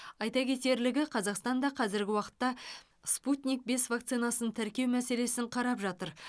айта кетерлігі қазақстан да қазіргі уақытта спутник бес вакцинасын тіркеу мәселесін қарап жатыр